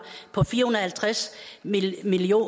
på fire og halvtreds million